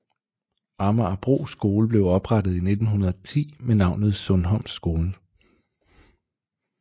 Amagerbro skole blev oprettet i 1910 med navnet Sundholm Skole